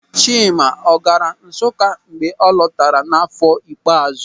Chima ọ gaara Nsụka mgbe ọ lọtara n'áfọ̀ ikpeàzụ́?